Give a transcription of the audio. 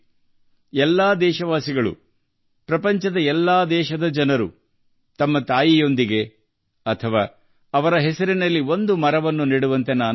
ನಾನು ಎಲ್ಲಾ ದೇಶವಾಸಿಗಳಿಗೆ ಮನವಿ ಮಾಡಿದ್ದೇನೆ ವಿಶ್ವದ ಎಲ್ಲಾ ದೇಶಗಳ ಜನರು ತಮ್ಮ ತಾಯಿಯೊಂದಿಗೆ ಅಥವಾ ಅವರ ಹೆಸರಿನಲ್ಲಿ ಸಸಿ ನೆಡಬೇಕು